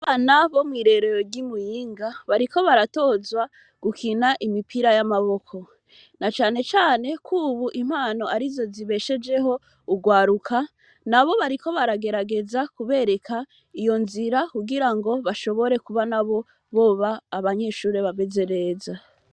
Abana bo mw'irerero ry,i Muyinga, bariko baratozwa gukina imipira ya maboko, na cane cane kubu impano arizo zibeshejeho urwaruka. Nabo bariko baragerageza kubereka iyo nzira kugira ngo bashobore kuba nabo boba abanyeshure bameze neza.